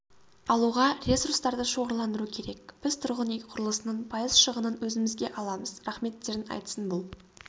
алуға ресурстарды шоғырландыру керек біз тұрғын үй құрылысының пайыз шығынын өзімізге аламыз рахметтерін айтсын бұл